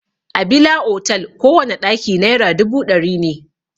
A bila otal kowana ɗaki naira dubu ɗari ne.